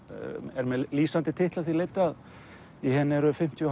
er með lýsandi titli að því leyti að í henni eru fimmtíu og